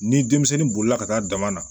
Ni denmisɛnnin bolila ka taa dama na